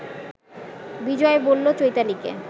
বিজয় বলল চৈতালিকে